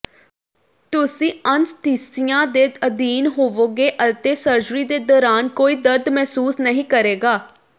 ਤੁਸੀਂ ਅਨੱਸਥੀਸੀਆ ਦੇ ਅਧੀਨ ਹੋਵੋਗੇ ਅਤੇ ਸਰਜਰੀ ਦੇ ਦੌਰਾਨ ਕੋਈ ਦਰਦ ਮਹਿਸੂਸ ਨਹੀਂ ਕਰੇਗਾ